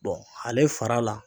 ale fara la